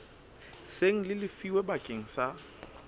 seng le lefilwe bakeng sa